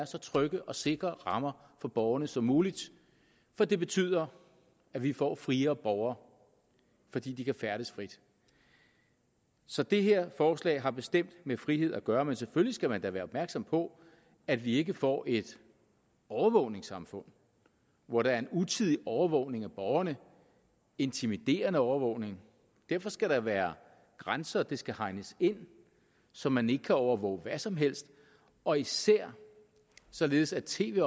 så trygge og sikre rammer for borgerne som muligt for det betyder at vi får friere borgere fordi de kan færdes frit så det her forslag har bestemt med frihed at gøre men selvfølgelig skal man da være opmærksom på at vi ikke får et overvågningssamfund hvor der er en utidig overvågning af borgerne intimiderende overvågning derfor skal der være grænser det skal hegnes ind så man ikke kan overvåge hvad som helst og især således at tv